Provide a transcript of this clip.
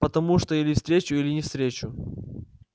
потому что или встречу или не встречу